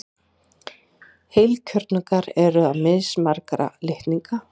Heilkjörnungar eru með mismarga litninga.